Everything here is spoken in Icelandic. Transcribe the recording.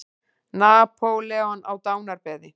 Napóleon á dánarbeði.